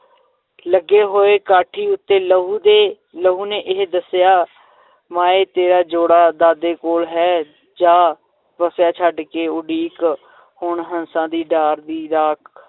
ਲੱਗੇ ਹੋਏ ਕਾਠੀ ਉਤੇ ਲਹੂ ਦੇ ਲਹੂ ਨੇ ਇਹ ਦੱਸਿਆ ਮਾਏਂ ਤੇਰਾ ਜੋੜਾ ਦਾਦੇ ਕੋਲ ਹੈ ਜਾ ਵੱਸਿਆ, ਛੱਡ ਦੇ ਉਡੀਕ ਹੁਣ ਹੰਸਾਂ ਦੀ ਡਾਰ ਦੀ, ਰਾਖ